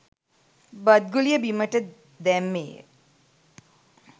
බත් ගුලිය බිම දැම්මේය